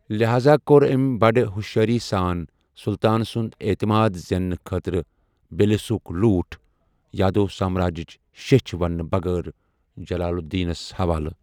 لحاذا كو٘ر ٲمۍ بڑٕ ہوشیٲری ساں سُلطان سُنٛد اعتماد زیننہٕ خٲطرٕ بھیلسا ہُک لوٗٹھ ، یادو سامراجِچ شیچھِ وننہٕ بغٲر ، جلال الدینس حوالہٕ،۔